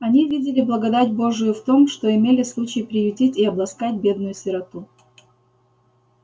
они видели благодать божию в том что имели случай приютить и обласкать бедную сироту